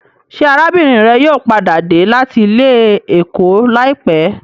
Ṣé arábìnrin rẹ yóò padà dé láti ilé-ẹ̀kọ́ láìpẹ́?